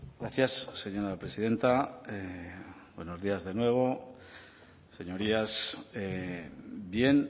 gracias señora presidenta buenos días de nuevo señorías bien